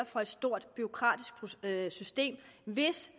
for et stort bureaukratisk system hvis